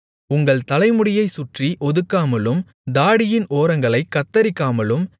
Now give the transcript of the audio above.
உங்கள் தலைமுடியைச் சுற்றி ஒதுக்காமலும் தாடியின் ஓரங்களைக் கத்தரிக்காமலும்